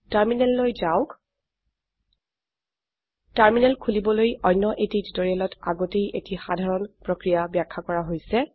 টাৰ্মিনাললৈ যাওক টাৰ্মিনেল খোলিবলৈ অন্য এটি টিউটোৰিয়েলত আগতেই এটি সাধাৰণ প্ৰক্ৰিয়া ব্যাখ্যা কৰা হৈছে